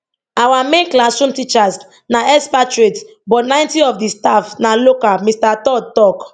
our main classroom teachers na expatriates but 90 of di staff na local mr todd tok